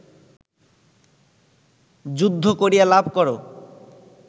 যুদ্ধ করিয়া লাভ কর